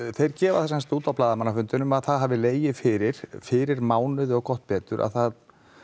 þeir gefa það semsagt út á blaðamannafundinum að það hafi legið fyrir fyrir mánuði og gott betur að það